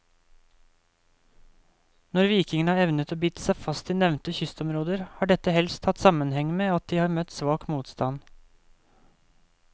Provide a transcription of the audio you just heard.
Når vikingene har evnet å bite seg fast i nevnte kystområder, har dette helst hatt sammenheng med at de har møtt svak motstand.